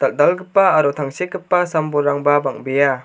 dal·dalgipa aro tangsekgipa sam-bolrangba bang·bea.